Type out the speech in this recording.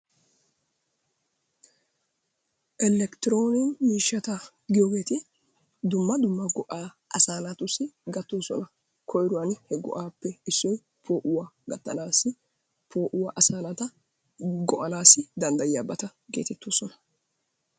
Elikitiroonikke miishshata giyoogeeti dumma dumma go'aa asaa naatussi gattoosona. koyruwani he go'aappe issoy poo'uwa gattanaassi poo'uwa asaa naata go'anaasi danddayiyabata geetettoosona.